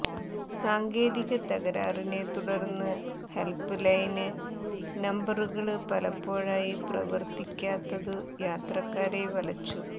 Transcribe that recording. സാങ്കേതിക തകരാറിനെ തുടര്ന്ന് ഹെല്പ്പ് ലൈന് നമ്പറുകള് പലപ്പോഴായി പ്രവര്ത്തിക്കാത്തതു യാത്രക്കാരെ വലച്ചു